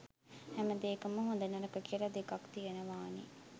හැමදේකම හොඳ නරක කියලා දෙකක් තියෙනවානේ.